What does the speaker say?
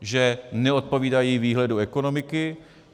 Že neodpovídají výhledu ekonomiky.